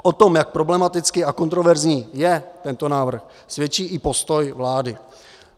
O tom, jak problematický a kontroverzní je tento návrh, svědčí i postoj vlády.